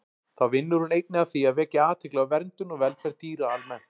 Þá vinnur hún einnig að því að vekja athygli á verndun og velferð dýra almennt.